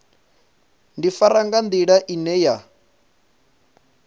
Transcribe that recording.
ḓifara nga nḓila ine ya